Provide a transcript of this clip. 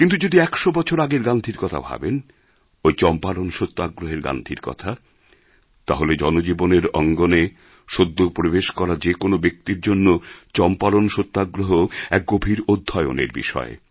কিন্তু যদি একশো বছর আগের গান্ধীর কথা ভাবেন ওই চম্পারণ সত্যাগ্রহের গান্ধীর কথা তাহলে জনজীবনের অঙ্গণে সদ্য প্রবেশ করা যে কোনো ব্যক্তির জন্য চম্পারণ সত্যাগ্রহ এক গভীর অধ্যয়নের বিষয়